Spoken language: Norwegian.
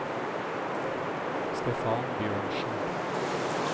Stefan Bjørnsen